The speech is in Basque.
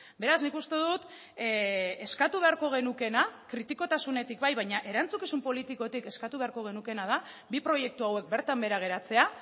beraz nik uste dut eskatu beharko genukeena kritikotasunetik bai baina erantzukizun politikotik eskatu beharko genukeena da bi proiektu hauek bertan behera geratzea